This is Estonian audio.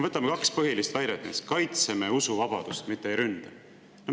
Võtame kaks põhilist väidet: me kaitseme usuvabadust, mitte ei ründa.